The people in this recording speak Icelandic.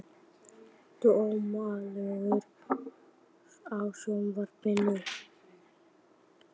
Dómaldur, kveiktu á sjónvarpinu.